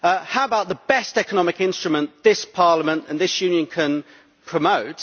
How about the best economic instrument this Parliament and this Union can promote?